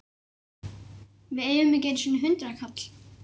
Við eigum ekki einu sinni hundraðkall!